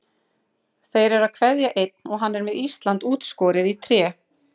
Þeir eru að kveðja einn og hann er með Ísland útskorið í tré.